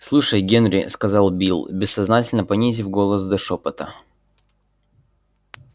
слушай генри сказал билл бессознательно понизив голос до шёпота